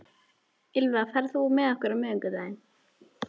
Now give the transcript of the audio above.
Ýlfa, ferð þú með okkur á miðvikudaginn?